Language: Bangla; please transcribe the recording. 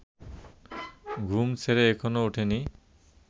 ঘুম ছেড়ে এখনো ওঠিনি